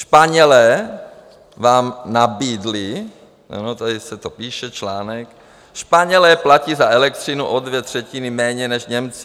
Španělé vám nabídli, ano, tady se to píše, článek, Španělé platí za elektřiny o dvě třetiny méně než Němci.